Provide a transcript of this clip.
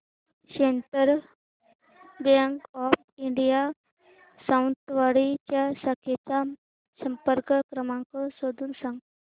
central bank of India Sawantwadi च्या शाखेचा संपर्क क्रमांक शोधून सांग